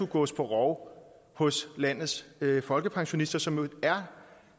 gås på rov hos landets folkepensionister som jo er